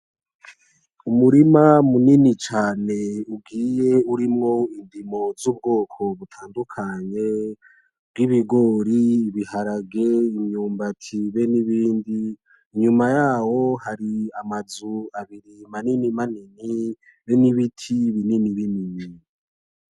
Umurima munini cane ugiye urimwo indimo z'ubwoko butandukanye bw ibigori, ibiharage, imyumbati ben'ibindi, inyuma yaho har'amazu maninimanini ben'ibiti bininibinini.